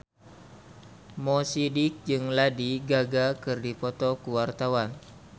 Mo Sidik jeung Lady Gaga keur dipoto ku wartawan